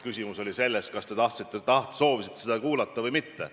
Küsimus on selles, kas te soovisite seda kuulda või mitte.